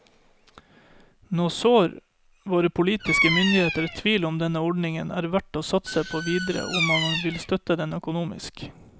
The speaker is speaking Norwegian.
Nå sår våre politiske myndigheter tvil om denne ordningen er verdt å satse på videre og om man vil støtte den økonomisk.